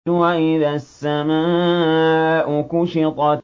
وَإِذَا السَّمَاءُ كُشِطَتْ